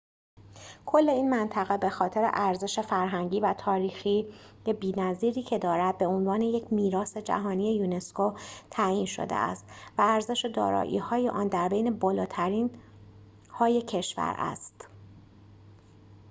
کل این منطقه به‌خاطر ارزش فرهنگی و تاریخی بی‌نظیری که دارد به عنوان یک میراث جهانی یونسکو تعیین شده است و ارزش دارایی‌های آن در بین بالاترین‌های کشور است